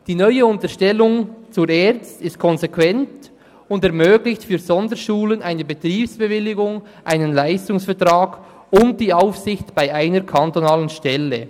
Die neue Unterstellung unter die ERZ ist konsequent und ermöglicht den Sonderschulen eine Betriebsbewilligung, einen Leistungsvertrag und die Aufsicht durch eine kantonale Stelle.